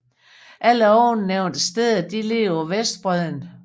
Alle ovennævnte steder ligger på vestbredden